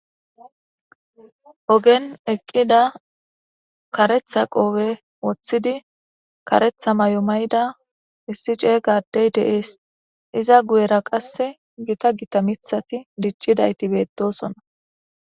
ogen eqqida karetha qoobe woththidi karetha may7o mayda issi cee gaddey deees iza guyera qasse gita gita mithati diccidayti beettosonna.